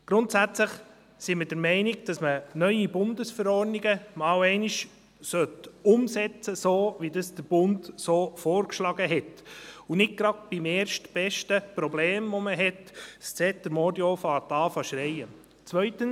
Grundsätzlich sind wir der Meinung, dass man neue Bundesverordnungen zuerst einmal umsetzen sollte, wie das der Bund vorgeschlagen hat, und nicht gleich beim erstbesten Problem, das man hat, Zeter und Mordio sollte zu schreien beginnen.